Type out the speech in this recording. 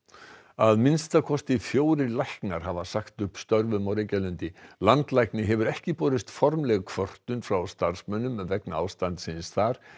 að minnsta kosti fjórir læknar hafa sagt upp störfum á Reykjalundi landlækni hefur ekki borist formleg kvörtun frá starfsmönnum vegna ástandsins þar